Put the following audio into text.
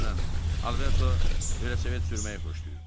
Məsələn, Alberto velosiped sürməyi xoşlayırdı.